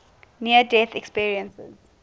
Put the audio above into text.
near death experiences